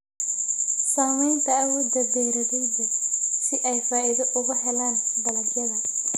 Saamaynta awoodda beeralayda si ay faa'iido uga helaan dalagyada.